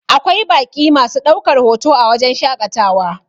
Akwai baƙi masu ɗaukar hoto a wajen shaƙatawa